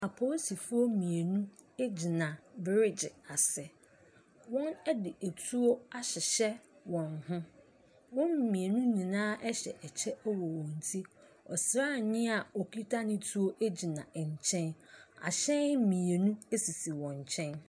Apolisifoɔ mmienu gyina bereegye ase. Wɔde tu ahyehyɛ wɔn ho. Wɔn mmienu nyinaa hyɛ ɛkɛy wɔ wɔn ti. Ɔsrani a ɔkita ne tuo gyina nkyɛn. Ahyɛn mmienu sisi wɔn nkyɛn.